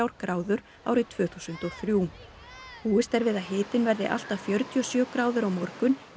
gráður árið tvö þúsund og þrjú búist er við að hitinn verði allt að fjörutíu og sjö gráður á morgun í